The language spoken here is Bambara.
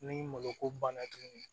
Ni malo ko banna tuguni